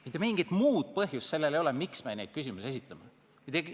Mitte mingisugust muud põhjust sellel ei ole, miks me neid küsimusi esitame.